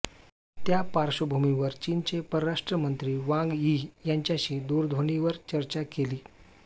त्या पार्श्वभूमीवर चीनचे परराष्ट्र मंत्री वांग यी यांच्याशी दूरध्वनीवर चर्चा केली